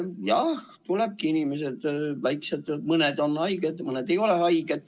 Jah, tulebki inimestel sellega leppida, mõned on haiged ja mõned ei ole haiged.